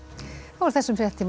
þessum fréttatíma